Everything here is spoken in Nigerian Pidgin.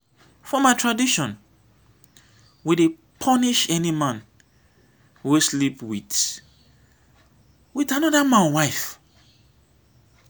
for my tradition we dey punish any man wey sleep wit wit anoda man wife.